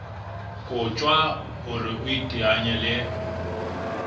kotjwa hore o iteanye le